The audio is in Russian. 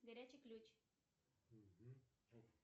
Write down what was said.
горячий ключ